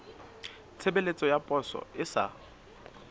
tshebeletso ya poso e sa